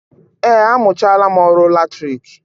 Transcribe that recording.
Eé, amụchaala m ọrụ latriki